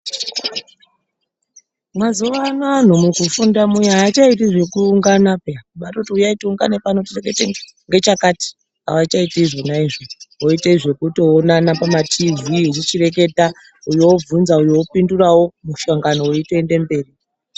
Mwazuva ano anhu mukufunda muya haachaiti zvekuungana phiya. Kubatoti huyai tiungane pano titoronga ngechakati, haachaiti izvona izvo. Voite zvekutoonana pamatiivhii nekuchireketa, uyu obvunza uyu opindurawo, muhlangano weitoende mberi.